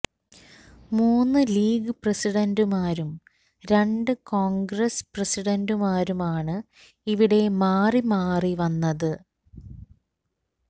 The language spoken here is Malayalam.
മൂന്ന് ലീഗ് പ്രസിഡന്റുമാരും രണ്ട് കോണ്ഗ്രസ് പ്രസിഡന്റുമാരുമാണ് ഇവിടെ മാറി മാറി വന്നത്